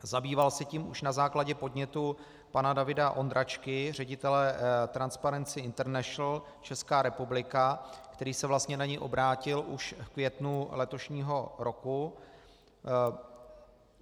Zabýval se tím už na základě podnětu pana Davida Ondráčky, ředitele Transparency International, Česká republika, který se vlastně na něj obrátil už v květnu letošního roku.